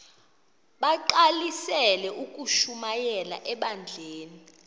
bagqalisele ukushumayela ebandleni